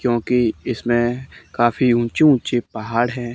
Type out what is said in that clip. क्योंकि इसमें काफी ऊंचे ऊंचे पहाड़ है।